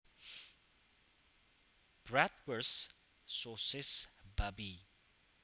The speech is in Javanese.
Bratwurst sosis babi